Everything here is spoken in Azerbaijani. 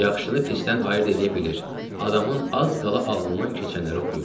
Yaxşını pisdən ayırd eləyə bilir, adamın az qala ağlından keçənləri oxuyurdu.